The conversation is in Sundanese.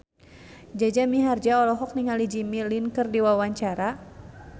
Jaja Mihardja olohok ningali Jimmy Lin keur diwawancara